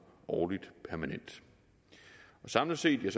årligt permanent samlet set vil